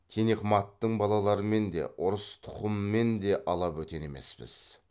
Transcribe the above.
тинехматтың балаларымен де ұрыс тұқымымен де ала бөтен емеспіз